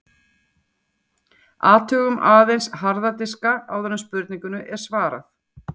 Athugum aðeins harða diska áður en spurningunni er svarað.